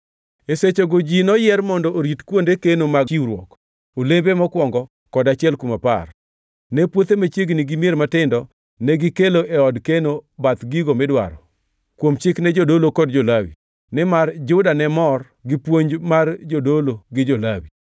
E sechego ji noyier mondo orit kuonde keno mag chiwruok, olembe mokwongo kod achiel kuom apar. Ne puothe machiegni gi mier matindo, negikelo e od keno bath gigo midwaro kuom Chik ne jodolo kod jo-Lawi, nimar Juda ne mor gi puonj mar jodolo gi jo-Lawi.